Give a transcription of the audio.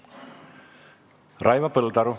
Raivo Põldaru.